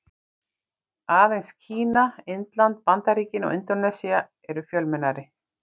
Aðeins Kína, Indland, Bandaríkin og Indónesía eru fjölmennari.